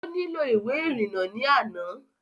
Ó nílò ìwé ìrìnnà ní àná